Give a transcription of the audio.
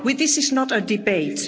This is not a debate.